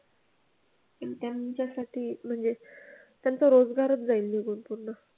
त्यांच्यासाठी म्हणजे त्यांचा रोजगारच जाईल निघून पूर्ण.